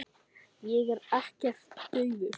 Ég er ekkert daufur.